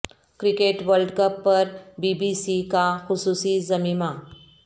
cricket world cup پر B B C کا خصوصی ضمیمہ